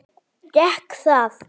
Gekk það?